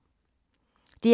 DR K